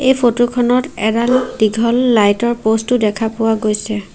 এই ফটোখনত এডাল দীঘল লাইটৰ প'ষ্টো দেখা পোৱা গৈছে।